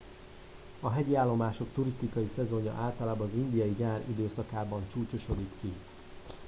a hegyi állomások turisztikai szezonja általában az indiai nyár időszakában csúcsosodik ki